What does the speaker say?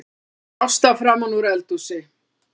kallar Ásta framanúr eldhúsi.